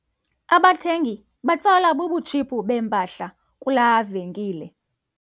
Abathengi batsalwa bubutshiphu bempahla kulaa venkile.